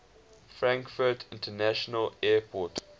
frankfurt international airport